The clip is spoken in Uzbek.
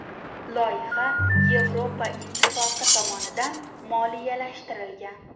Loyiha Yevropa ittifoqi tomonidan moliyalashtirilgan.